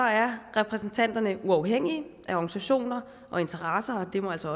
er repræsentanterne uafhængige af organisationer og interesser og det må altså